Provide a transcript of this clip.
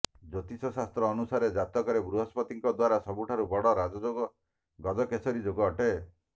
ଜ୍ୟୋତିଷଶାସ୍ତ୍ର ଅନୁସାରେ ଜାତକରେ ବୃହସ୍ପତିଙ୍କ ଦ୍ବାରା ସବୁଠାରୁ ବଡ ରାଜଯୋଗ ଗଜକେସରୀ ଯୋଗ ଅଟେ